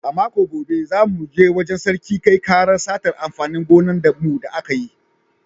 A makon gobe, za mu je wajen Sarki kai ƙarar satar amfanin gonan mu da aka yi